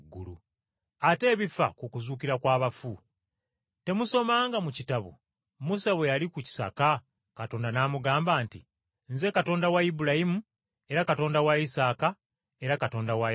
Ate ebifa ku kuzuukira kw’abafu, temusomanga mu kitabo Musa bwe yali ku kisaka Katonda n’amugamba nti, ‘Nze Katonda wa Ibulayimu era Katonda wa Isaaka era Katonda wa Yakobo?’